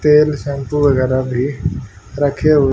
तेल शैंपू वगैरा भी रखें हुए--